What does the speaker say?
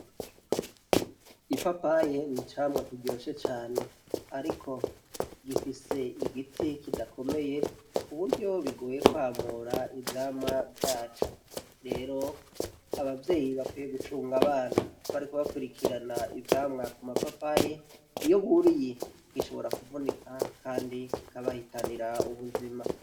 Ipapaye n'icamwa kiryoshe cane, ariko gifise igiti kidakomeye kuburyo bigoye kwamura ivyamwa vyavo, rero abavyeyi bakwiye gucunga abana mukubakurikirana ivyamwa ku ma papaye iyo buriye gishobora kuvunika kandi kikabahitanira ubuzima.